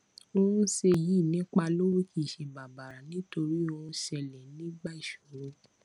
ohun ṣe yìí nípa lówó kìí ṣe bàbàrà nítorí ohun ṣẹlè nígbà ìṣòro